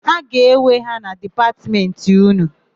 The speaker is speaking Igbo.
A ga-ewe ya na Dipatmentị ụnụ?